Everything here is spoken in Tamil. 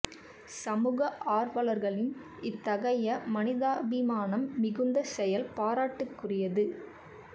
சமூக ஆர்வலர்களின் இத்தகைய மனிதாபிமானம் மிகுந்த செயல் பாராட்டுக்கு உரியது